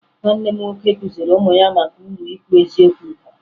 Nwanne m nwoke kụziri ụmụ ya maka uru ikwu eziokwu bara